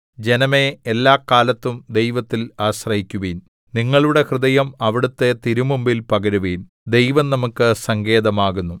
ജനമേ എല്ലാകാലത്തും ദൈവത്തിൽ ആശ്രയിക്കുവിൻ നിങ്ങളുടെ ഹൃദയം അവിടുത്തെ തിരുമുമ്പിൽ പകരുവിൻ ദൈവം നമുക്ക് സങ്കേതമാകുന്നു സേലാ